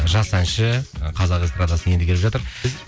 жас әнші қазақ эстрадасына енді келіп жатыр